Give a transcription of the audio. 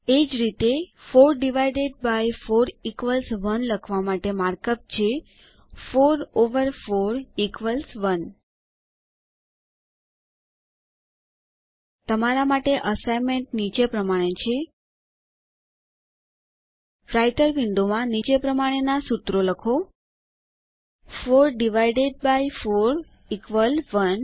એ જ રીતે 4 divided by 4 equals 1 લખવા માટે માર્કઅપ છે 4 ઓવર 4 ઇક્વલ્સ 1 તમારા માટે અસાઇનમેન્ટ નીચે પ્રમાણે છે રાઈટર વિન્ડોમાં નીચે પ્રમાણેના સૂત્રો લખો 4 ડિવાઇડેડ બાય 4 1